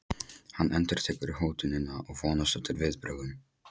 Hann endurtekur hótunina og vonast eftir viðbrögðum.